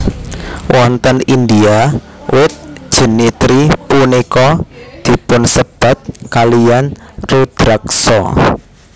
Wonten India wit jenitri punika dipunsebat kalian Rudraksa